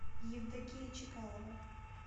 евдокия чекалова